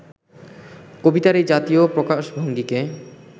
কবিতার এই জাতীয় প্রকাশভঙ্গিকে